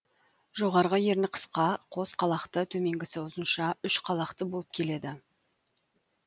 жоғарғы ерні қысқа қос қалақты төменгісі ұзынша үш қалақты болып келеді